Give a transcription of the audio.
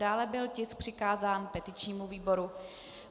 Dále byl tisk přikázán petičnímu výboru.